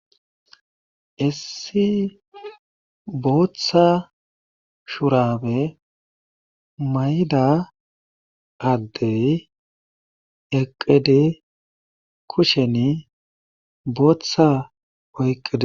Issi bootha shurabe mayida adeyi eqid kushen Botha oyqid ...